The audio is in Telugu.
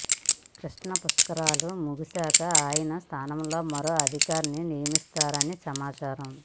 కృష్ణా పుష్కరాలు ముగిశాక ఆయన స్థానంలో మరో అధికారిని నియమిస్తారని సమాచారం